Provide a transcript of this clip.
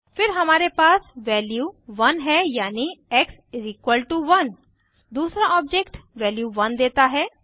फिर हमारे पास वैल्यू 1 है यानि एक्स 1 दूसरा ऑब्जेक्ट वैल्यू 1 देता है